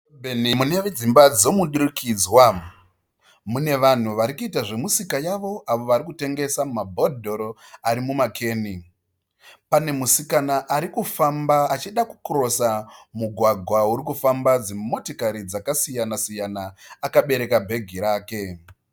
Benhe muneve dzimba dzemudurikudzwa mune vanhu varikuita zvemisika yavo avo varikutengesa mabhodhoro ari muma keni pane musikana arikufamba achida ku kirosa mugwagwa uri kufamba dzimotikari dzakasiyana siyana akabereka bhegi rake.